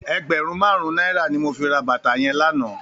Ègbèrùn màrún nàirá ni mó fi rà bàtá yèn lànã